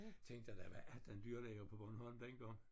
Tænkte da hvad er den dyrlæge på Bornholm dengang